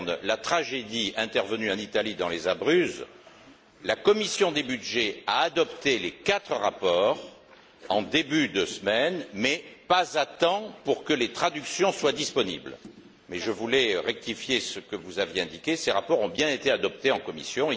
la tragédie survenue en Italie dans les Abruzzes, la commission des budgets a adopté les quatre rapports en début de semaine, mais pas à temps pour que les traductions soient disponibles. Je voulais simplement rectifier ce que vous aviez indiqué ces rapports ont bien été adoptés en commission.